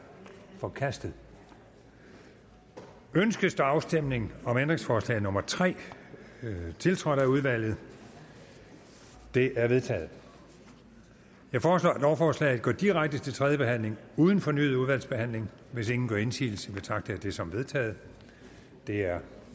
forkastet ønskes afstemning om ændringsforslag nummer tre tiltrådt af udvalget det er vedtaget jeg foreslår at lovforslaget går direkte til tredje behandling uden fornyet udvalgsbehandling hvis ingen gør indsigelse betragter jeg det som vedtaget det er